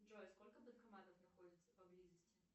джой сколько банкоматов находится поблизости